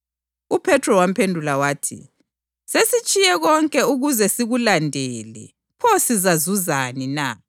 UJesu wabakhangela wathi, “Ngokwabantu, lokhu kakwenzeki kodwa ngoNkulunkulu zonke izinto ziyenzeka.”